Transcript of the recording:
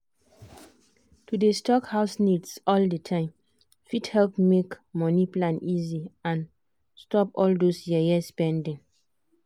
to dey stock house needs all the time fit help make money plan easy and stop all those yeye spending.